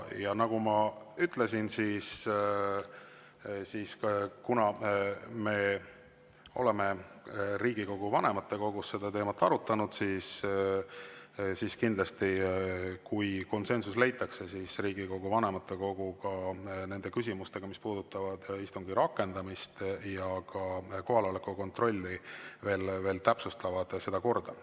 Ja nagu ma ütlesin, me oleme Riigikogu vanematekogus seda teemat arutanud ja kui konsensus leitakse, siis Riigikogu vanematekogu nendes küsimustes, mis puudutavad istungi rakendamist ja ka kohaloleku kontrolli, kindlasti seda korda veel täpsustab.